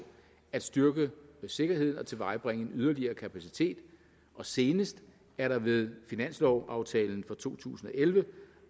at styrke sikkerheden og tilvejebringe en yderligere kapacitet og senest er der ved finanslovaftalen for to tusind og elleve